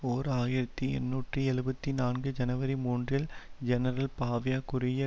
ஓர் ஆயிரத்தி எண்ணூற்றி எழுபத்து நான்கு ஜனவரி மூன்றில் ஜெனரல் பாவியா குறுகிய